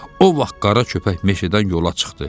O vaxt qara köpək meşədən yola çıxdı.